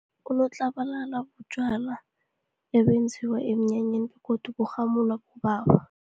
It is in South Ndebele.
Unotlabalala butjwala ebenziwa emnyanyeni, godu burhamula bobaba.